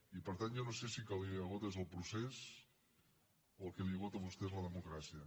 i per tant jo no sé si el que l’esgota és el procés o el que l’esgota a vostè és la democràcia